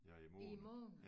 Ja i måned